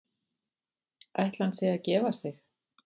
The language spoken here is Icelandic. Ætli hann sé að gefa sig?